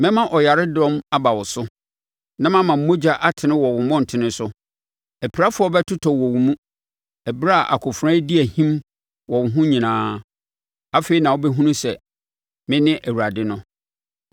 Mɛma ɔyaredɔm aba wo so na mama mogya atene wɔ wo mmɔntene so. Apirafoɔ bɛtotɔ wɔ wo mu, ɛberɛ a akofena redi ahim wɔ wo ho nyinaa. Afei na wɔbɛhunu sɛ mene Awurade no.